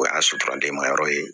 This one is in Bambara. O y'a suturaden ma yɔrɔ ye